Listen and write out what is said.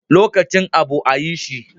Lokacin abu a yi shi